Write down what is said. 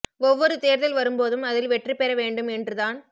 ஒவ்வொரு தேர்தல் வரும் போதும் அதில் வெற்றி பெற வேண்டும் என்று தான்